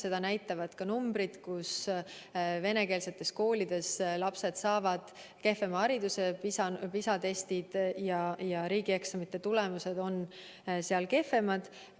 Seda näitavad ka numbrid, et venekeelsetes koolides lapsed saavad kehvema hariduse, PISA-testide ja riigieksamite tulemused on seal kehvemad.